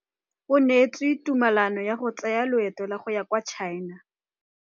Moithuti o neetse sekaô sa palophatlo fa ba ne ba ithuta dipalo.